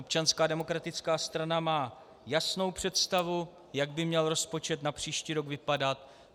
Občanská demokratická strana má jasnou představu, jak by měl rozpočet na příští rok vypadat.